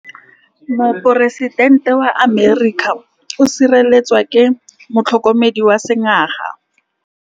Poresitêntê wa Amerika o sireletswa ke motlhokomedi wa sengaga.